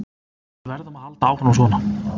Við verðum að halda áfram svona.